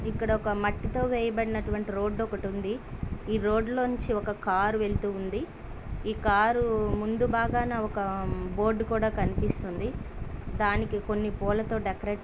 ఇక్కడ ఒక మట్టితో వేయబడినటువంటి రోడ్డు ఒకటుంది. ఈ రోడ్ లో నుంచి ఒక కారు వెళ్తూ ఉంది. ఈ కారు ముందు భాగాన ఒక బోర్డు కూడా కనిపిస్తుంది. దానికి కొన్ని పూలతో డెకరేట్ --